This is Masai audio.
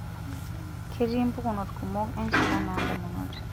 Ketii mpukunot kumok enchalan oondamunot.